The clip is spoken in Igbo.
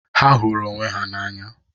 Ha hụrụ onwe ha n'anya.